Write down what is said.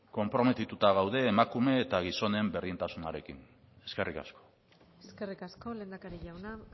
konprometituta gaude emakume eta gizonen berdintasunarekin eskerrik asko eskerrik asko lehendakari jauna